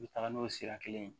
N bɛ taga n'o sira kelen ye